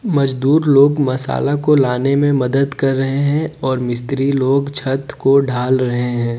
मजदूर लोग मसाला को लाने में मदद कर रहे हैं और मिस्त्री लोग छत को ढाल रहे है।